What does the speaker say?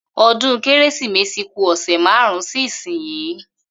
O̩dún Kérésìmesì ku ò̩sè̩ márùn-ún sí ìsinyìí